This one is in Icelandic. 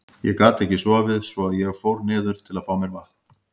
Ég gat ekki sofið svo að ég fór niður til að fá mér vatn.